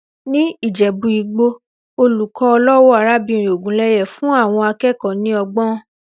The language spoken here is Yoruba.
Ní Ìjẹ̀bú-Igbó, olùkọ́ ọlọ́wọ̀ arábìnrin Ògúnlẹ́yẹ fún àwọn akẹ́kọ̀ọ́ ní ọgbọ́n.